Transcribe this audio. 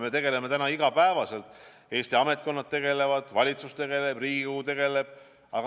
Me tegeleme sellega iga päev – Eesti ametkonnad tegelevad, valitsus tegeleb, Riigikogu tegeleb.